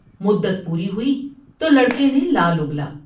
مدت پوری ہوئی تولڑ کے نے لال اگلا ۔